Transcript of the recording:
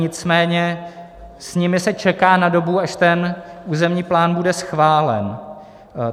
Nicméně s nimi se čeká na dobu, až ten územní plán bude schválen.